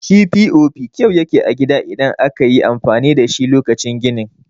Shi POP kyau yake a gida idan akayi amfani dashi lokacin gini